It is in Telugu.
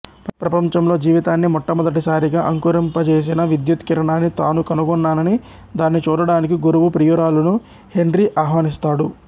ప్రపంచంలో జీవితాన్ని మొట్టమొదటిసారిగా అంకురింపజేసిన విద్యుత్ కిరణాన్ని తాను కనుగొన్నానని దాన్ని చూడడానికి గురువు ప్రియురాలును హెన్రీ ఆహ్వానిస్తాడు